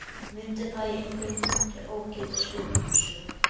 Mundi það í einhverjum punkti ógilda sköpunarsögu